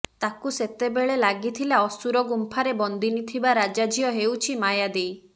ତାକୁ ସେତେବେଳେ ଲାଗିଥିଲା ଅସୁର ଗୁମ୍ଫାରେ ବନ୍ଦିନୀ ଥିବା ରାଜାଝିଅ ହେଉଛି ମାୟାଦେଈ